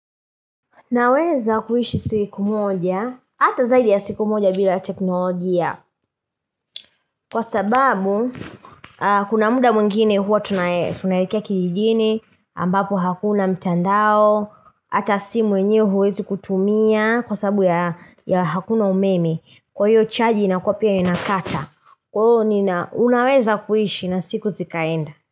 Naweza kuishi siku moja, hata zaidi ya siku moja bila teknolojia, Kwa sababu, kuna muda mwngine huwa tunaelekea kijijini, ambapo hakuna mtandao, hata simu yenyewe huwezi kutumia, kwa sababu ya hakuna umeme, kwa hiyo chaji inakuwa pia inakata, kwa hiyo unaweza kuishi na siku zikaenda.